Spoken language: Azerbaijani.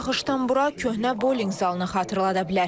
İlk baxışdan bura köhnə bolling zalını xatırlada bilər.